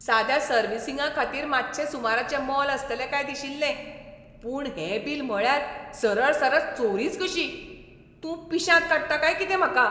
साद्या सर्विसींगाखातीर मातशें सुमाराचें मोल आसतलें काय दिशिल्लें, पूण हें बील म्हळ्यार सरळसरळ चोरीच कशी! तूं पिश्यांत काडटा काय कितें म्हाका?